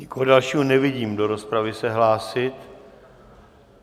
Nikoho dalšího nevidím do rozpravy se hlásit.